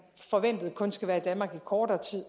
forventer at de kun skal være i danmark i kortere tid